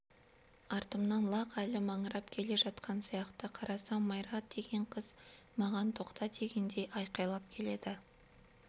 артымнан лақ әлі маңырап келе жатқан сияқты қарасам майра деген қыз маған тоқта дегендей айқайлап келеді